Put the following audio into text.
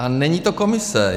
A není to Komise.